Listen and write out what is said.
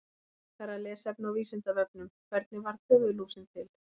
Frekara lesefni á Vísindavefnum: Hvernig varð höfuðlúsin til?